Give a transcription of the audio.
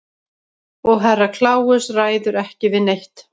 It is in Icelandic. Og Herra Kláus ræður ekki við neitt.